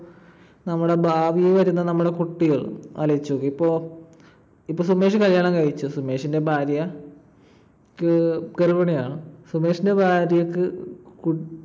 നമ്മുടെ ഭാവിയിൽ വരുന്ന നമ്മുടെ കുട്ടികൾ ആലോചിച്ചു നോക്കിയേ. ഇപ്പൊ ~ ഇപ്പൊ സുമേഷ് കല്യാണം കഴിച്ചു. സുമേഷിന്റെ ഭാര്യ~ക്ക് ഗർഭിണിയാണ്. സുമേഷിന്റെ ഭാര്യക്ക്